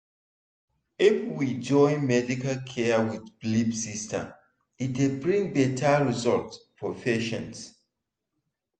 if we join medical care with belief system e dey bring better result for patient.